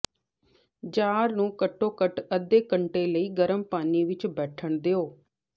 jar ਨੂੰ ਘੱਟੋ ਘੱਟ ਅੱਧੇ ਘੰਟੇ ਲਈ ਗਰਮ ਪਾਣੀ ਵਿਚ ਬੈਠਣ ਦਿਓ